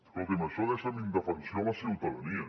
escolti’m això deixa en indefensió la ciutadania